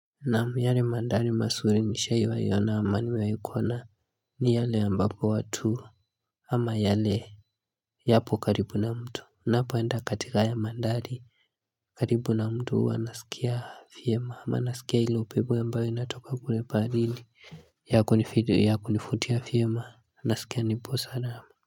Naam yale mandhari mazuri nishawahi ona ama nimewahikuona ni yale ambapo watu ama yale yapo karibu na mtu napoenda katika haya mandhari karibu na mto huwa nasikia vyema ama nasikia hilo upepo ambao inatoka kule baharini yako ni video yakunivutia vyema nasikia nipo salama.